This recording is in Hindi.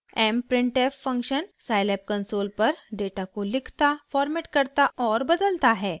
mprintf फंक्शन साइलैब कंसोल पर डेटा को लिखता फॉर्मेट करता और बदलता है